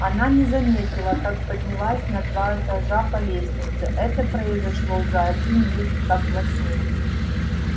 она не заметила как поднялась на два этажа по лестнице это произошло за один миг как во сне